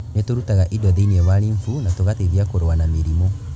Nĩ tũrutaga indo thĩinĩ wa lymph na tũgateithia kũrũa na mĩrimũ.